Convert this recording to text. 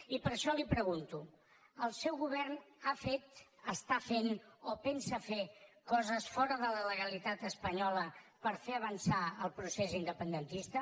i per això li pregunto el seu govern ha fet està fent o pensa fer coses fora de la legalitat espanyola per fer avançar el procés independentista